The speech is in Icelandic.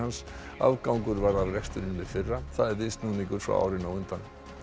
afgangur varð af rekstrinum í fyrra það er viðsnúningur frá árinu á undan